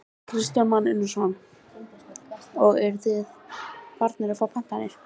Kristján Már Unnarsson: Og eruð þið farnir að fá pantanir?